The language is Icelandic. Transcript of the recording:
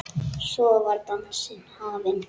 Svo var dansinn hafinn.